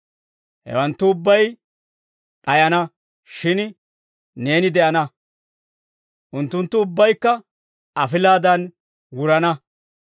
Hewanttu ubbay d'ayana; shin neeni de'ana. Unttunttu ubbaykka afilaadan wurana.